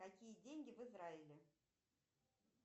какие деньги в израиле